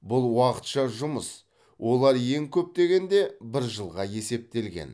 бұл уақытша жұмыс олар ең көп дегенде бір жылға есептелген